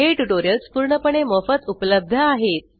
हे ट्यूटोरियल्स पूर्णपणे मोफत उपलब्ध आहेत